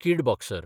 कीड बॉक्सर